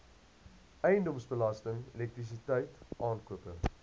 eiendomsbelasting elektrisiteit aankope